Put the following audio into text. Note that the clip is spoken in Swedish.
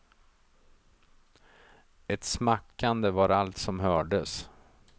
Ett smackande var allt som hördes.